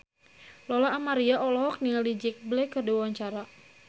Lola Amaria olohok ningali Jack Black keur diwawancara